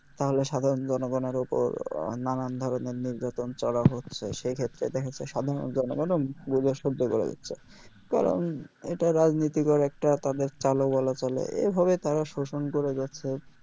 তাহলে সাধারন জনগণের উপর নানান ধরেনর নির্যাতন চলা হচ্ছে সেইক্ষেত্রে দ্যাখাচ্ছে সাধারন জনগন ও বুঝে সহ্য করে যাচ্ছে কারণ এটা রাজনীতিকর একটা তাদের চাল ও বলা চলে এভাবে তারা শোষণ করে যাচ্ছে